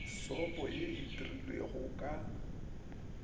sopo ye e dirilwego ka